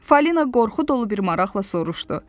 Falina qorxu dolu bir maraqla soruşdu.